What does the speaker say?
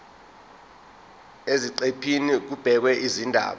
eziqephini kubhekwe izindaba